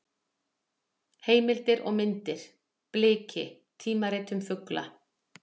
Heimildir og myndir: Bliki: tímarit um fugla.